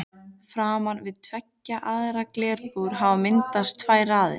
Framan við tveggja varða glerbúr hafa myndast tvær raðir.